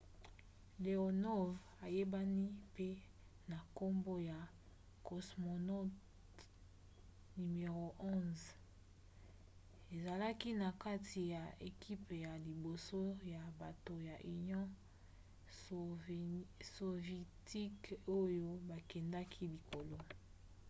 leonov ayebani mpe na nkombo ya cosmonaut no. 11 ezalaki na kati ya ekipe ya liboso ya bato ya union sovietique oyo bakendaki likolo